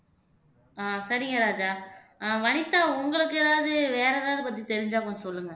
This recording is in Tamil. ஆஹ் சரிங்க ராஜா ஆஹ் வனிதா உங்களுக்கு ஏதாவது வேற ஏதாவது பத்தி தெரிஞ்சா கொஞ்சம் சொல்லுங்க